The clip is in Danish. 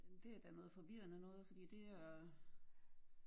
Det er da noget forvirrende noget fordi det er